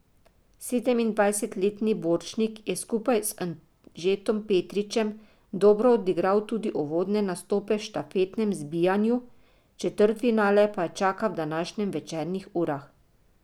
Sedemindvajsetletni Borčnik je skupaj z Anžetom Petričem dobro odigral tudi uvodne nastope v štafetnem zbijanju, četrtfinale pa ju čaka v današnjih večernih urah.